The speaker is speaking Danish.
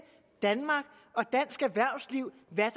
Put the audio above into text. danmark og dansk erhvervsliv hvad